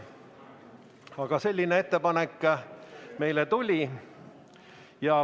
Aga selline ettepanek meile tuli.